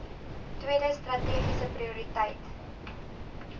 tweede strategiese prioriteit